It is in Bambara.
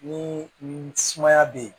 Ni sumaya be yen